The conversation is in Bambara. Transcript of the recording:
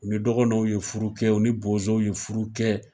U ni dɔgɔnɔw ye furu kɛ ,u ni bozow ye furu kɛ.